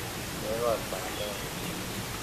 Kekol bandek ngircho.